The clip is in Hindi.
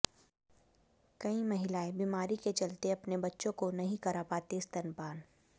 कई महिलाएं बीमारी के चलते अपने बच्चों को नहीं करा पातीं स्तनपान